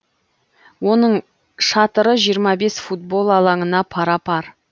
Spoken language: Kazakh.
оның шатыры жиырма бес футбол алаңына пара пар